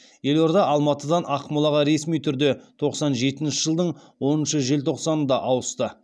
елорда алматыдан ақмолаға ресми түрде тоқсан жетінші жылдың оныншы желтоқсанында ауысты